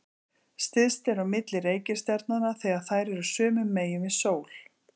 Styst er á milli reikistjarnanna þegar þær eru sömu megin við sól.